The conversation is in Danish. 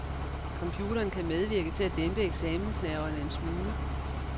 Computeren kan medvirke til at dæmpe eksamensnerverne en smule.